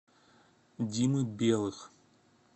димы белых